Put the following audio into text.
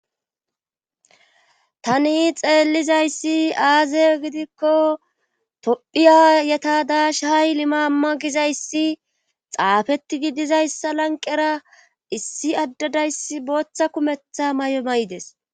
Tani xeellizayssi aazey gidikko tophiya yeta dash hay limaamma gizayssi xaafetti gidizayssa lanqera issi addadayssi booththa kumetha may7o may7des